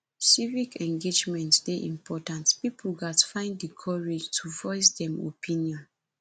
civic engagement dey important pipo gatz find di courage to voice dem opinion